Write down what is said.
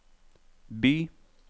by